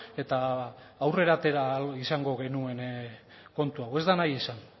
eta aurrera atera ahal izango genuen kontu hau ez da nahi izan